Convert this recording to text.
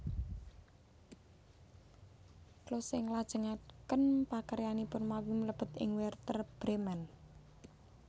Klose nglajengaken pakaryanipun mawi mlebet ing Wèrder Brèmen